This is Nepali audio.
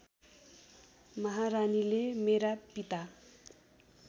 महारानीले मेरा पिता